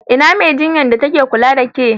Ina Mai jinyar da ta ke kula da ƙe?